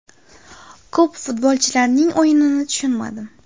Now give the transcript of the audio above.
Ko‘p futbolchilarning o‘yinini tushunmadim.